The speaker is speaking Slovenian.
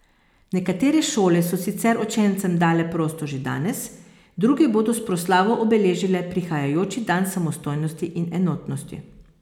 Nekatere šole so sicer učencem dale prosto že danes, druge bodo s proslavo obeležile prihajajoči dan samostojnosti in enotnosti.